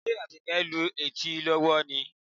Ṣe Àbíkẹ́ ń lu etí lọ́wọ́ ni?